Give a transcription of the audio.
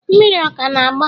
mmiri ọ ka na-agba?